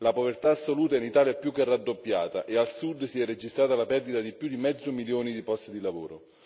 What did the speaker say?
La povertà assoluta in Italia è più che raddoppiata e al Sud si è registrata la perdita di più di mezzo milione di posti di lavoro.